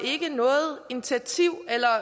den til